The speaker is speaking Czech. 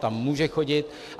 Tam může chodit.